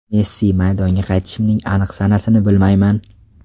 Messi: Maydonga qaytishimning aniq sanasini bilmayman.